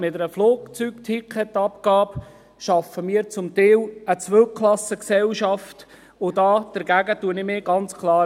Mit einer Flugticketabgabe schaffen wir zum Teil eine Zweiklassengesellschaft, und dagegen wehre ich mich ganz klar.